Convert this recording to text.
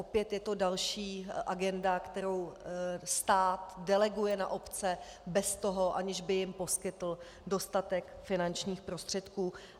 Opět je to další agenda, kterou stát deleguje na obce bez toho, aniž by jim poskytl dostatek finančních prostředků.